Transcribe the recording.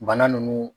Bana nunnu